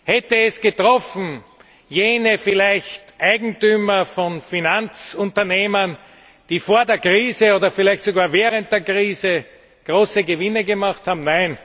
Hätte es vielleicht jene Eigentümer von Finanzunternehmen getroffen, die vor der Krise oder vielleicht sogar während der Krise große Gewinne gemacht haben?